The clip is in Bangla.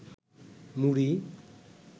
মুড়ি